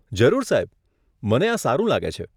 જરૂર સાહેબ, મને આ સારું લાગે છે.